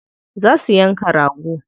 Za su yanka rago.